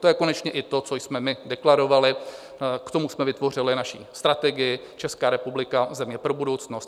To je konečně i to, co jsme my deklarovali, k tomu jsme vytvořili naší strategii Česká republika, země pro budoucnost.